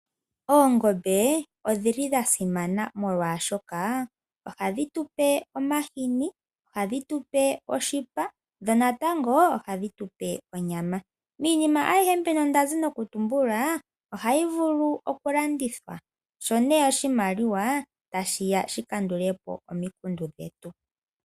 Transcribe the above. Oongombe odha simana oshoka ohadhi tupe omahini, ohadhi tupe oshipa dho natango ohadhi tupe onyama miinima ayihe mbino ohayi vulu okulandithwa sho oshimaliwa tashiya shikandule po omikundu.